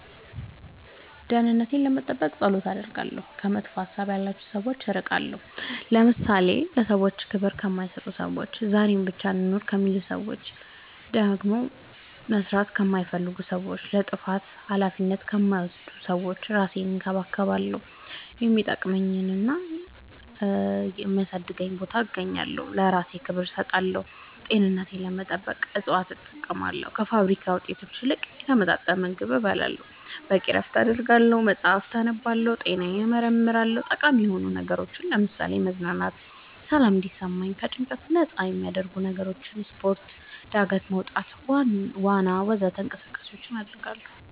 ደህንነቴን ለመጠበቅ ፀሎት አደርጋለሁ ከመጥፎ ሀሳብ ያላቸው ሰዎች እርቃለሁ ለምሳሌ ለሰዎች ክብር ከማይሰጡ ሰዎች ዛሬን ብቻ እንኑር ከሚሉ ሰዎች ማደግ መስራት ከማይፈልጉ ሰዎች ለጥፋታቸው አላፊነት ከማይወስዱ ሰዎች እራሴን እንከባከባለሁ የሚጠቅመኝና የሚያሳድገኝ ቦታ እገኛለሁ ለእራሴ ክብር እሰጣለሁ ጤንነቴን ለመጠበቅ እፅዋት እጠቀማለሁ ከፋብሪካ ውጤት ይልቅ የተመጣጠነ ምግብ እበላለሁ በቂ እረፍት አደርጋለሁ መፅአፍ አነባለሁ ጤናዬን እመረመራለሁ ጠቃሚ የሆኑ ነገሮች ለምሳሌ መዝናናት ሰላም እንዲሰማኝ ከጭንቀት ነፃ የሚያረጉኝ ነገሮች ስፓርት ጋደት መውጣት ዋና ወዘተ እንቅስቃሴ ማድረግ